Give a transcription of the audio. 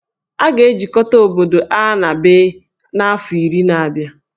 A ga-ejikọta obodo A na B n'afọ iri na-abịa